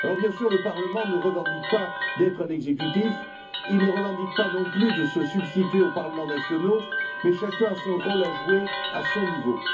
Bien sûr, le Parlement ne revendique pas d'être un exécutif, il ne revendique pas, non plus, de se substituer aux parlements nationaux mais chacun a son rôle à jouer à son niveau.